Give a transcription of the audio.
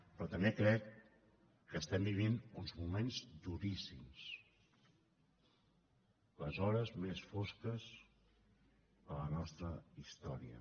però també crec que estem vivint uns moments duríssims les hores més fosques de la nostra història